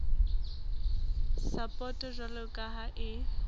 sapoto jwalo ka ha e